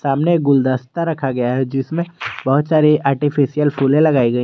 सामने गुलदस्ता रखा गया है जिसमें बहुत सारे आर्टिफिशियल फूले लगाई गई।